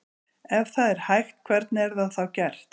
Ef það er hægt hvernig er það þá gert?